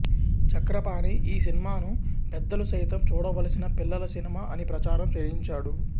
చక్రపాణి ఈ సినిమాను పెద్దలు సైతం చూడవలసిన పిల్లల సినిమా అని ప్రచారం చేయించాడు